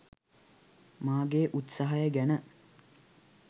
මාගේ උත්සාහය ගැන